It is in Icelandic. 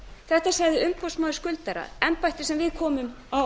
þetta sagði umboðsmaður skuldara embætti sem við komum á